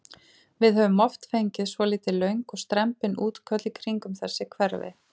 Við höfum oft fengið svolítið löng og strembin útköll í kringum þessi hverfi?